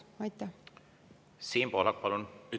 Siim Pohlak, palun!